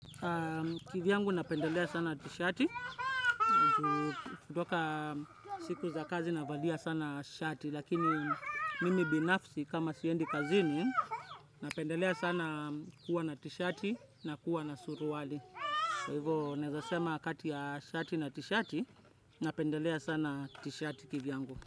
Kivyangu napendelea sana tishati, kutoka siku za kazi navalia sana shati. Lakini mimi binafsi kama siendi kazini napendelea sana kuwa na tishati na kuwa na suruwali. Kwa hivyo naeza sema kati ya shati na tishati napendelea sana tishati kivyangu.